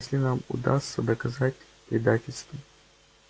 если нам удастся доказать предательство